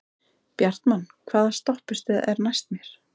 Bjartmann, hvaða stoppistöð er næst mér?